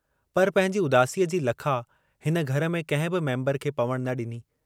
पर पंहिंजी उदासीअ जी लखा हिन घर में कंहिं बि मेम्बर खे पवणु न ॾिनी।